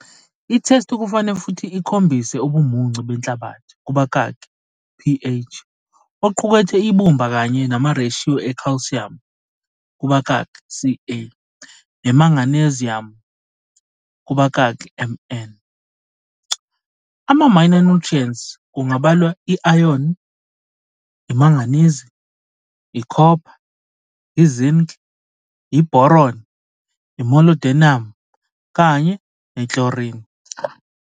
Ithesti kufane futhi ikhombise ubumuncu benhlabathi, kubakaki, ph, oqukethe ibumba kanye namareshiyo ekhalsiyamu, kubakaki, Ca nemagneziyamu, kubakaki, Mn. Ama-minor nutrients kungabalwa i-ayoni, imanganizi, ikhopha, i-zinc, i-boron, i-molybdenum kanye ne-chlorine.